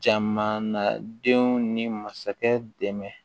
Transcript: Jamana nadenw ni masakɛ dɛmɛ